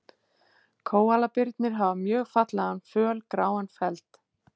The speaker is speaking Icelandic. Kóalabirnir hafa mjög fallegan fölgráan feld.